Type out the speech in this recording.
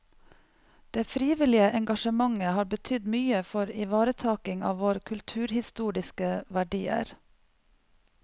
Det frivillige engasjementet har betydd mye for ivaretaking av våre kulturhistoriske verdier.